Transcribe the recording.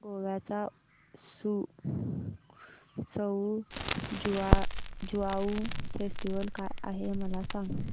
गोव्याचा सउ ज्युआउ फेस्टिवल काय आहे मला सांग